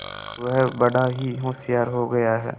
वह बड़ा ही होशियार हो गया है